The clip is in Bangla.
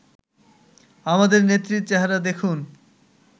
আমাদের নেত্রীর চেহারা দেখুন